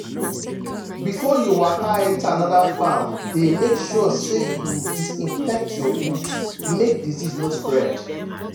before you waka enter another farm dey make sure say you disinfect your boot make disease no spread.